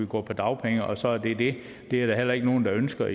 gå på dagpenge og så er det det det er der heller ikke nogen der ønsker